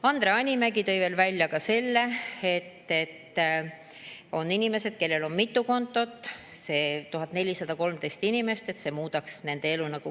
Andre Hanimägi tõi veel välja need inimesed, kellel on mitu kontot, et nende 1413 inimese elu muudaks see keerulisemaks.